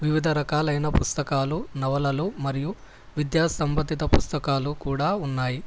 వివిధ రకాలైన పుస్తకాలు నవలలు మరియు విద్యా సంబంధిత పుస్తకాలు కూడా ఉన్నాయి.